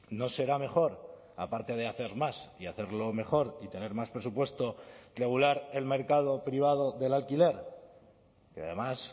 no será mejor aparte de hacer más y hacerlo mejor y tener más presupuesto regular el mercado privado del alquiler que además